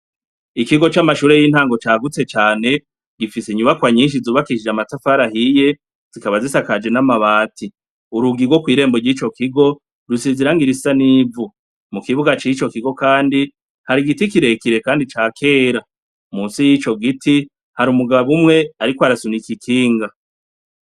Ikigo c'amashure y'intango cagutse cane, gifise inyubakwa nyinshi zubakishije amatafari ahiye, zikaba zisakaje n'amabati, urugi rwo kw'irembo yico kigo rusize irangi risa n'ivu, mu kibuga cico kigo kandi hari igiti kirekire kandi ca kera, munsi y'ico giti hari umugabo umwe ariko arasunika ikinga.